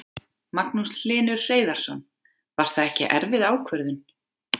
Magnús Hlynur Hreiðarsson: Var það ekki erfið ákvörðun?